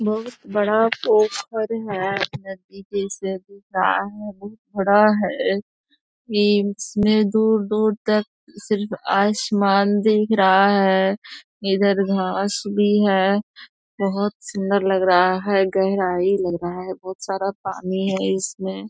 बहुत बड़ा पोखर है नदी जैसा दिख रहा है। इसमें दूर-दूर तक सिर्फ आसमान दिख रहा है इधर घास भी है बहुत सुंदर लग रहा है गहराई लग रहा है बहुत सारा पानी है इसमें।